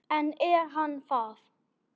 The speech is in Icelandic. En er hann það?